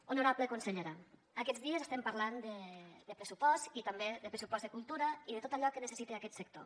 honorable consellera aquests dies estem parlant de pressupost i també de pressupost de cultura i de tot allò que necessita aquest sector